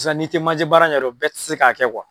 sisan n'i tɛ maje baara ɲɛdɔn bɛɛ tɛ se k'a kɛ